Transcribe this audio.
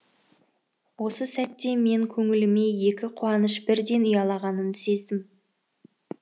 осы сәтте мен көңіліме екі қуаныш бірден ұялағанын сездім